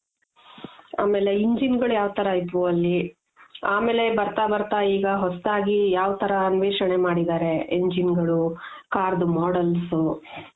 ಆಮೇಲೆ engine ಗಳು ಯಾವ್ ತರ ಇದ್ವು ಅಲ್ಲಿ ಆಮೇಲೆ ಬರ್ತಾ ಬರ್ತಾ ಈಗ ಹೊಸದಾಗಿ ಯಾವ್ ತರ ಅನ್ವೇಷಣೆ ಮಾಡಿದರೆ engine ಗಳು, car models